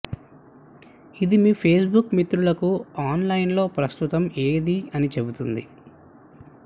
ఇది మీ ఫేస్బుక్ మిత్రులకు ఆన్లైన్లో ప్రస్తుతం ఏది అని చెబుతుంది